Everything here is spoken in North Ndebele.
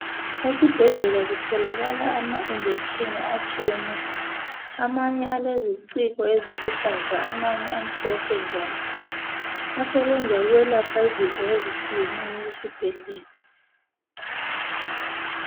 Esibhedlela kutholakala ama injection atshiyeneyo. Amanye aleziciko eziluhlaza, amanye amhlophe njalo. Asebenza ukwelapha izifo ezitshiyeneyo esibhedlela.